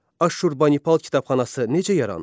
Aşşurbanipal kitabxanası necə yarandı?